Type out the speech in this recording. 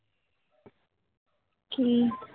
কী